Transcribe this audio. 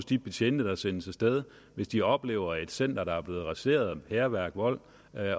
de betjente der sendes af sted hvis de oplever at et center er blevet raseret i hærværk og vold